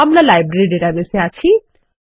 আমরা library database এ আছি